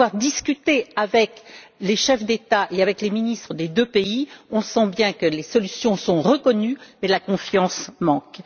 Pour avoir discuté avec les chefs d'État et avec les ministres des deux pays, on sent bien que les solutions sont reconnues, mais la confiance manque.